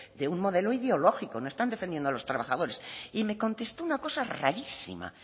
de un modelo ideológico no están defendiendo a los trabajadores y me contestó una cosa rarísima